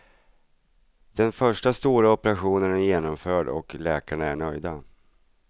Den första stora operationen är genomförd och läkarna är nöjda.